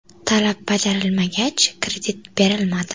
Talab bajarilmagach, kredit berilmadi”.